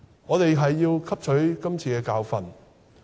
我們要汲取今次的教訓。